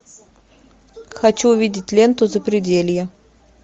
хочу увидеть ленту запределье